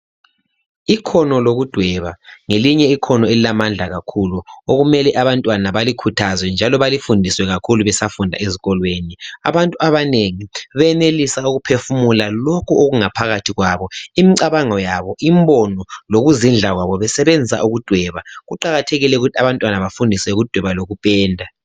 Ikhono lokudweba ngelinye ikhono elilamandla kakhulu okumele abantwana balikhuthazwe njalo balifundiswe kakhulu besafunda ezikolweni. Abantu abanengi benelisa ukuphefumula lokhu okungaphakathi kwabo imcabango yabo imbono lokuzidla kwabo besebenzisa ukudweba. Kuqakathekile ukuthi abantwana bafundiswe ukudweba lokupenda.